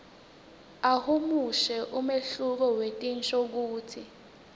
ahumushe umehluko wetinshokutsi